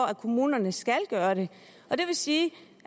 at kommunerne skal gøre det og det vil sige